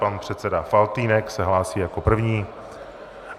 Pan předseda Faltýnek se hlásí jako první.